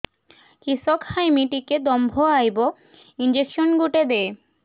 କିସ ଖାଇମି ଟିକେ ଦମ୍ଭ ଆଇବ ଇଞ୍ଜେକସନ ଗୁଟେ ଦେ